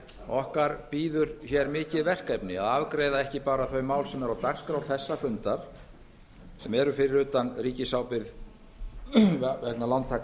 okkar bíður mikið verkefni að afgreiða ekki bara þau mál sem eru á dagskrá þessa fundar sem eru fyrir utan ríkisábyrgðina vegna lántaka